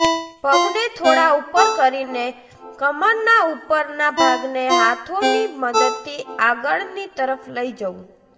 પગને થોડા ઉપર કરીને કમરના ઉપરના ભાગને હાથોની મદદથી આગળની તરફ લઈ જવું